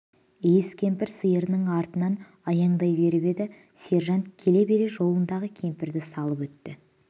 иіс кемпір сиырының артынан аяндай беріп еді сержант келе бере жолындағы кемпірді салып өтті